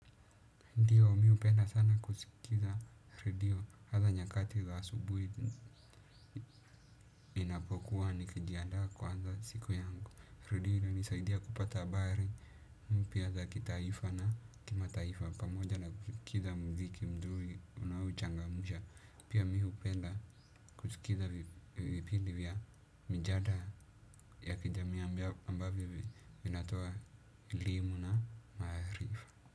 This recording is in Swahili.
Ndiyo, mi upenda sana kusikiza redio. Hatha nyakati za asubui ninapokuwa nikijiandaa kuanza siku yangu. Redio inanisaidia kupata habari. Pia za kitaifa na kimataifa. Pamoja na kusikiza mziki mdhuli. Unaochangamusha. Pia mi hupenda kusikiza vipindi vya. Mijadla ya kijamii.